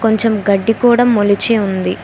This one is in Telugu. కొంచం గడ్డి కూడా మొలిచి ఉంది.